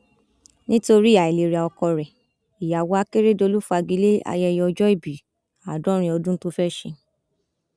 nítorí àìlera ọkọ rẹ ìyàwó akérèdọlù fagi lé ayẹyẹ ọjọòbí àádọrin ọdún tó fẹẹ ṣe